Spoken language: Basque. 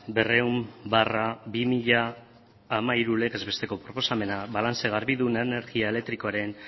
berrehun barra bi mila hamairu legez besteko proposamena balantze garbidunen energia elektrikoaren